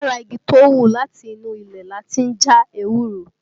Lára igi tó hù láti inú ilẹ̀ lati ń já ewúro